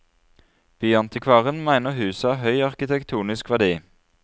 Byantikvaren mener huset har høy arkitektonisk verdi.